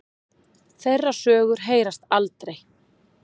Þeirra sögur heyrast aldrei.